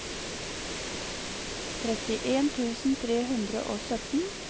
trettien tusen tre hundre og sytten